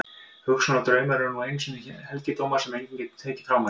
Hugsun og draumar eru nú einu sinni helgidómar sem enginn getur tekið frá manni.